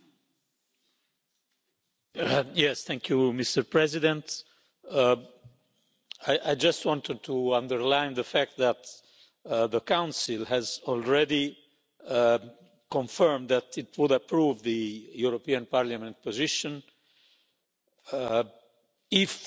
Mr President, I just wanted to underline the fact that the Council has already confirmed that it will approve the European Parliament position if Parliament adopts its position on the first reading